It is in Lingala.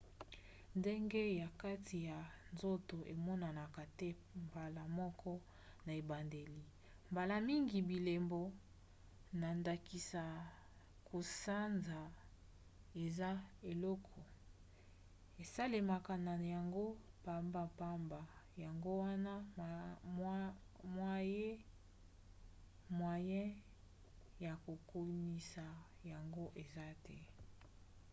ngenge ya kati ya nzoto emonanaka te mbala moko na ebandeli. mbala mingi bilembo na ndakisa kosanza eza eloko esalemaka na yango pambapamba yango wana mwaye ya kokanisa yango eza te